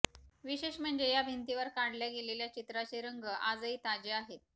विशेष म्हणजे या भिंतीवर काढल्या गेलेल्या चित्राचे रंग आजही ताजे आहेत